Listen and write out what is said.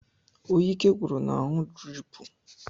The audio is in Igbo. Onye ike gwụrụ na-aṅụ driipu.